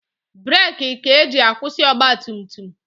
Breeki ka eji akwụsị ọgbatumtum.